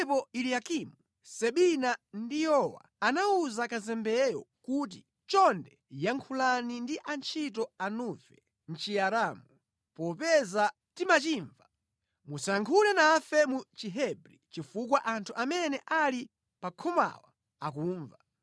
Pamenepo Eliyakimu, Sebina ndi Yowa anawuza kazembeyo kuti, “Chonde yankhulani kwa atumiki anufe mʼChiaramu, popeza timachimva. Musayankhule nafe mu Chihebri kuopa kuti anthu onse amene ali pa khomapa angamve.”